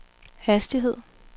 hastighed